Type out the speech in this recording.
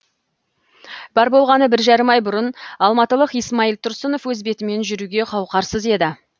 бар болғаны бір жарым ай бұрын алматылық исмаил тұрсынов өз бетімен жүруге қауқарсыз еді